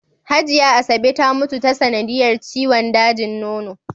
Hajiya Asabe ta mutu ta sanadiyar ciwon dajin nono.